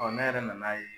ne yɛrɛ nan'a ye